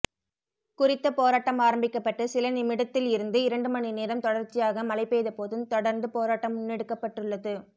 குறித்த போராட்டம் ஆரம்பிக்கப்பட்டு சில நிமிடத்தில் இருந்து இரண்டு மணிநேரம் தொடர்ச்சியாக மழை பெய்த போதும் தெடர்ந்து போராட்டம் முன்னெடுக்கப்பட்டுள்ளது